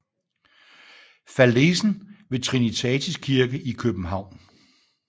Fallesen ved Trinitatis Kirke i København